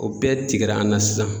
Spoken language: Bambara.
O bɛɛ tigɛra an na sisan